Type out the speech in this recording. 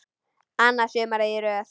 Annað sumarið í röð.